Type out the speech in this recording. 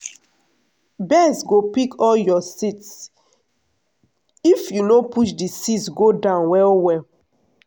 birds go pick all your seeds if you no push the seeds go down well well.